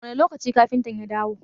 Wane lokaci kafintan ya dawo?